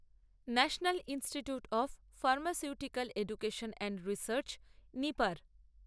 national institute of pharmaceutical education and research নিপার